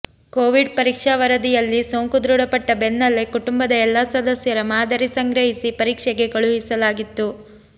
Covid ಪರೀಕ್ಷಾ ವರದಿ ಯಲ್ಲಿ ಸೋಂಕು ದೃಢಪಟ್ಟ ಬೆನ್ನಲ್ಲೇ ಕುಟುಂಬದ ಎಲ್ಲಾ ಸದಸ್ಯರ ಮಾದರಿ ಸಂಗ್ರಹಿಸಿ ಪರೀಕ್ಷೆಗೆ ಕಳುಹಿಸಲಾಗಿತ್ತು